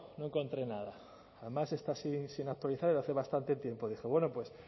no encontré nada además está sin actualizar desde hace bastante tiempo dije bueno